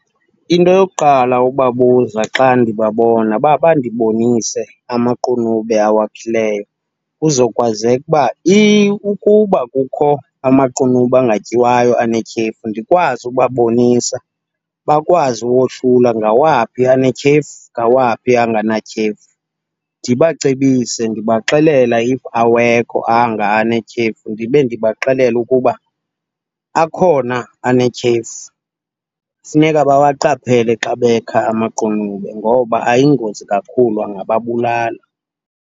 Into yokuqala ukubabuza xa ndibabona uba bandibonise amaqunube awakhileyo kuzokwazeka uba ukuba kukho amaqunube angatyiwayo anetyhefu ndikwazi ukubabonisa, bakwazi uwohlula ngawaphi anetyhefu, ngawaphi anganatyhefu. Ndibacebise ndibaxelela if awekho anga anetyhefu, ndibe ndibaxelela ukuba akhona anetyhefu, funeka bawaqaphele xa bekha amaqunube ngoba ayingozi kakhulu angababulala.